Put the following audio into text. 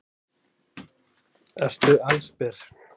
Ertu allsber?